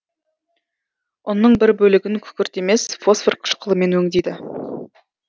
ұнның бір бөлігін күкірт емес фосфор қышқылымен өңдейді